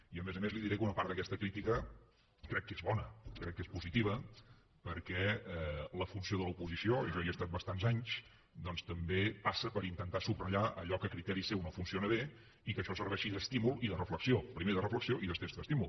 i a més a més li diré que una part d’aquesta crítica crec que és bona crec que és positiva perquè la funció de l’oposició jo hi estat bastants anys doncs també passa per intentar subratllar allò que a criteri seu no funciona bé i que això serveixi d’estímul i de reflexió primer de reflexió i després d’estímul